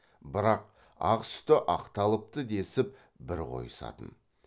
бірақ ақ сүті ақталыпты десіп бір қойысатын